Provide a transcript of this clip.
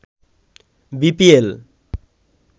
BPL